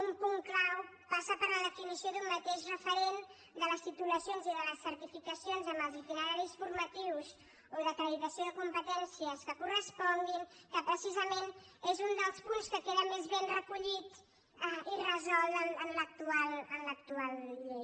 un punt clau passa per la definició d’un mateix referent de les titulacions i de les certificacions amb els itineraris formatius o d’acreditació de competències que corresponguin que precisament és un dels punts que queden més ben recollits i resolts en l’actual llei